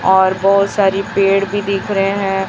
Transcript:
और बहोत सारी पेड़ भी दिख रहे हैं।